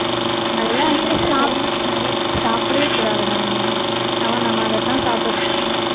அதெல்லாம் சாப்பிடவே கூடாதுடா நம்ம நம்ம அதத்தான் சாப்பிட்டுட்டு இருக்கோம்